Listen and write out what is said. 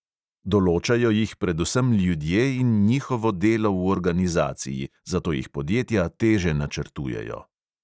Določajo jih predvsem ljudje in njihovo delo v organizaciji, zato jih podjetja teže načrtujejo.